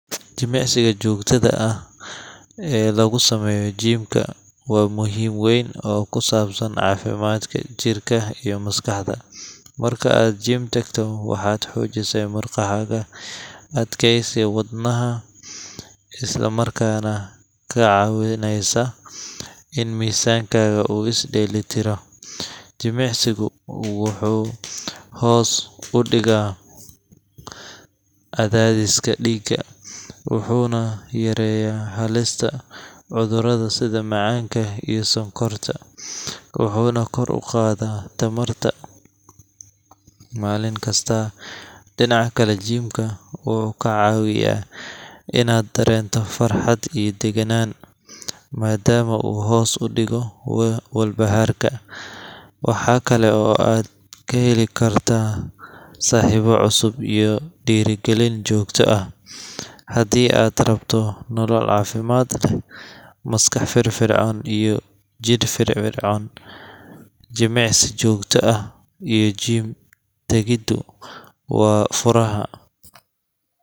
Jimicsiga joogtada ah ee lagu sameeyo gym ka waa muhiim weyn oo ku saabsan caafimaadka jirka iyo maskaxda. Marka aad gym tagto, waxaad xoojisaa murqahaga, adkayneysa wadnaha, isla markaana kaa caawinaysa in miisaankaaga uu is dheellitiro. Jimicsigu wuxuu hoos u dhigaa cadaadiska dhiigga, wuxuuna yareeyaa halista cudurrada sida macaanka iyo sonkorta, wuxuuna kor u qaadaa tamarta maalin kastaa. Dhinaca kale, gym ka wuxuu ka caawiyaa inaad dareento farxad iyo degganaan, maadaama uu hoos u dhigo walbahaarka. Waxaa kale oo aad ka heli kartaa saaxiibo cusub iyo dhiirrigelin joogta ah. Haddii aad rabto nolol caafimaad leh, maskax firfircoon, iyo jidh firfircoon jimicsi joogto ah iyo gym-tagiddu waa furaha.